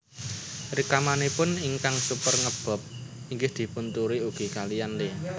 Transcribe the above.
Rikmanipun ingkang super nge bob inggih dipun tiru ugi kaliyan Lee